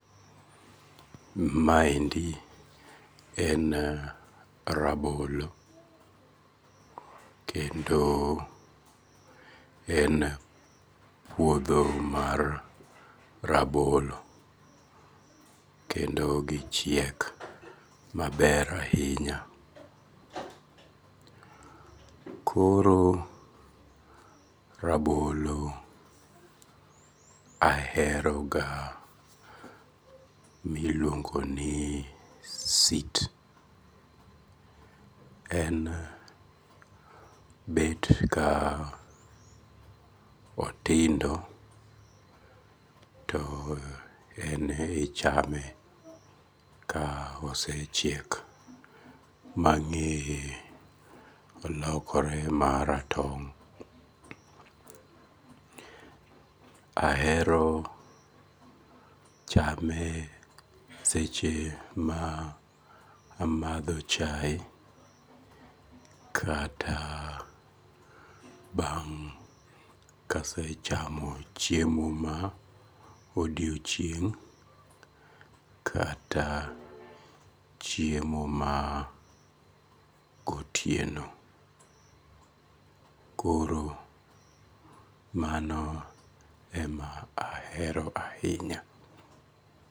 Maendi en rabolo, kendo en puotho mar rabolo, kendo gichiek maber ahinya, koro rabolo aheroga miluongo ni sit en bet ka otindo to enemichame ka osechiek ma ng'ye olokore maratong' ahero chame seche ma amatho chaye kata bang' kasechamo chiemo ma odiochieng' kata chiemo ma gotieno koro mano ema aheroga ahinya